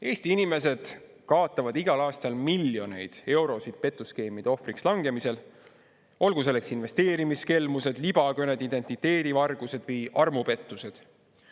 Eesti inimesed kaotavad igal aastal miljoneid eurosid petuskeemide ohvriks langemisel, olgu nendeks investeerimiskelmused, libakõned, identiteedivargused või armupettused.